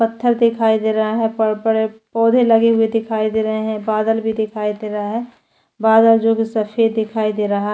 पत्थर दिखाई दे रहा है बड़े - बड़े पौधे लगे हुए दिखाई दे रहे है बादल भी दिखाई दे रहा है बादल जो कि सफ़ेद दिखाई दे रहा है।